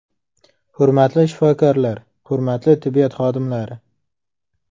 Hurmatli shifokorlar, hurmatli tibbiyot xodimlari!